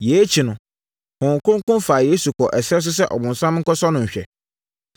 Yei akyi no, Honhom Kronkron faa Yesu kɔɔ ɛserɛ so sɛ ɔbonsam nkɔsɔ no nhwɛ.